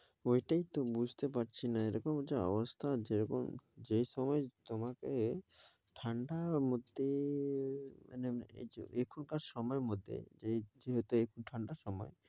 ওইটাই তো বুঝতে পারছিনা এরকম যা অবস্থা যে রকম যেই সময় তোমাকে ঠান্ডার মধ্যে~ মানে এখনকার সময়ের মধ্যে যেহেতু একটু ঠান্ডা সময়